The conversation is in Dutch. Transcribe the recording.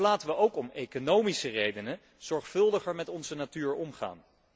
Dus laten wij ook om economische redenen zorgvuldiger met onze natuur omgaan.